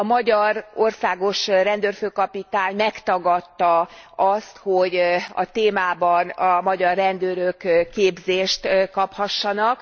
A magyar országos rendőrfőkapitány megtagadta azt, hogy a témában a magyar rendőrök képzést kaphassanak.